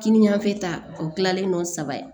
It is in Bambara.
Kinin yanfɛ ta o kilalen no saba ye